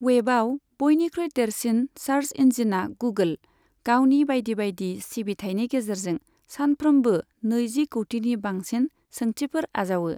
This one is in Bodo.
वेबआव बयनिख्रुइ देरसिन सार्स इन्जिना गुगोल, गावनि बायदि बायदि सिबिथाइनि गेजेरजों सानफ्रोमबो नैजि कौटिनि बांसिन सोंथिफोर आजावो।